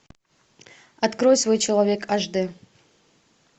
открой свой человек аш дэ